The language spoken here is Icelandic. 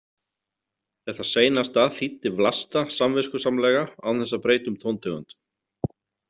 Þetta seinasta þýddi Vlasta samviskusamlega án þess að breyta um tóntegund.